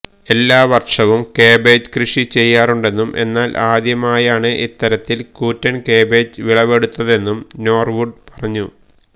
എല്ലാ വർഷവും കാബേജ് കൃഷി ചെയ്യാറുണ്ടെന്നും എന്നാൽ ആദ്യമായാണ് ഇത്തരത്തിൽ കൂറ്റൻ കാബേജ് വിളവെടുത്തതെന്നും നോർവുഡ് പറഞ്ഞു